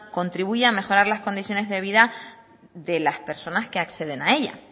contribuye a mejorar las condiciones de vida de las personas que acceden a ella